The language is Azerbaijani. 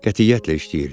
Qətiyyətlə işləyirdi.